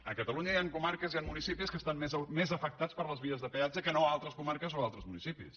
a catalunya hi han comarques hi han municipis que estan més afectats per les vies de peatge que no altres comarques o altres municipis